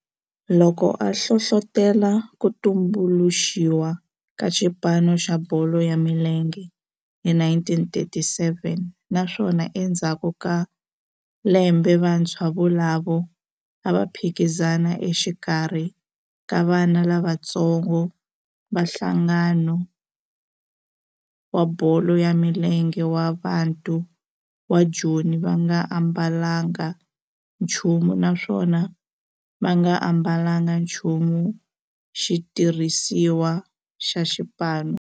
Loko a hlohlotela ku tumbuluxiwa ka xipano xa bolo ya milenge hi 1937 naswona endzhaku ka lembe vantshwa volavo a va phikizana exikarhi ka vana lavatsongo va nhlangano wa bolo ya milenge wa Bantu wa Joni va nga ambalanga nchumu naswona va nga ambalanga nchumu xitirhisiwa xa xipano.